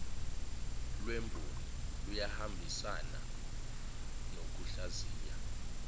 lwemboni luyahambisana nokuhlaziya